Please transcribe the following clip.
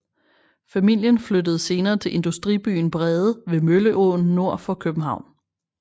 Familien flyttede senere til industribyen Brede ved Mølleåen nord for København